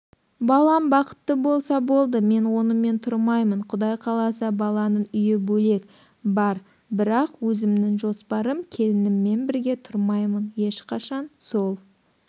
балам бақытты болса болды мен онымен тұрмаймын құдай қаласа баланың үйі бөлек бар бірақ өзімнің жоспарым келініммен бірге тұрмаймын ешқашан сол